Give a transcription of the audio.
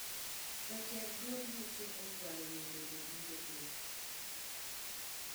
Jotend duond buche ochwalo nyinge jodito ge